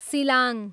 सिलाङ